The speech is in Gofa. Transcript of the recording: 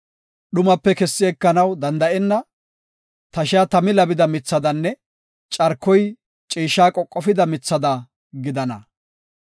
Dhumape kessi ekenaw danda7enna; tashiya tami labida mithadanne carkoy ciishsha qoqofida mithada gidana.